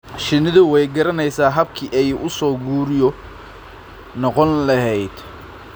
Shinnidu way garanaysaa habkii ay u soo guryo noqon lahayd.